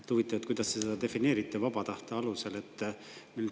Huvitav, kuidas te seda defineerite: vaba tahte alusel.